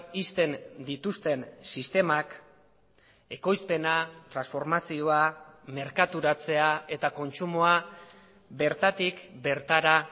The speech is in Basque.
ixten dituzten sistemak ekoizpena transformazioa merkaturatzea eta kontsumoa bertatik bertara